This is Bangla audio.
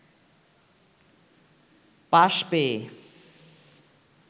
পাস পেয়ে